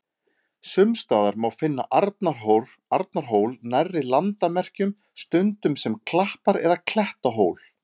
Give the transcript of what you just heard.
Sums staðar má finna Arnarhól nærri landamerkjum, stundum sem klappar- eða klettahól.